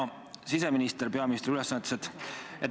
Hea siseminister peaministri ülesannetes!